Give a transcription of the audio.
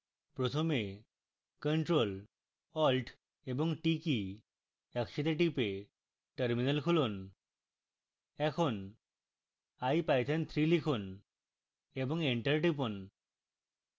প্রথমে ctrl + alt + t কী একসাথে টিপে terminal খুলুন